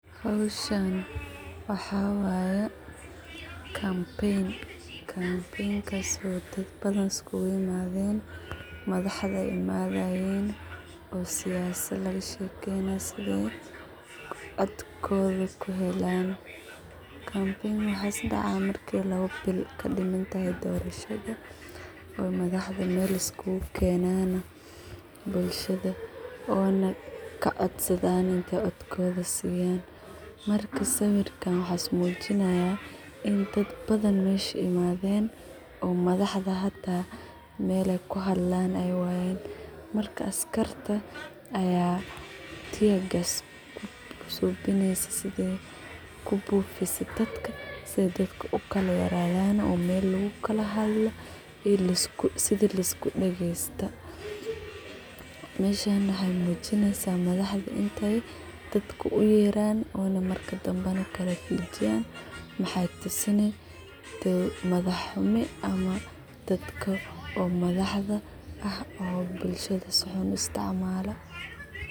Hawshaan waxawaye campaign kasso dadbadhan iskugu imadeen madhaxda imadahayeen oo siasa laga shekeyna sidha cotkodha kuhelaan. campaign waxas daca marka lawa biil kadimantahay doorishada oo madhaxda meel ay iskugu keenan bulshada oo kacodsadhan cotkodha inay siyan. Marka sawirka waxas mujinaya in daad badhan meesha imadheen oo madaxda hata meel ay kuhadlaan ay wayeen marka askarta aya tear gas kusubinyoso sidhay kubufiso dadka ay ukalayaree yaan oo meel lakukalhadlo iyo sida laisku dagesta meshan waxay mujinaysa madaxda intay dadka u yeeran o marki danba na kalfijiyan maxay tusini in ay madax xumi ama dadka o madaxda ah oo bulshada si xun uu isticmala.